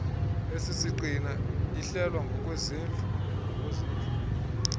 esisiqina ihlelwa ngokwezintlu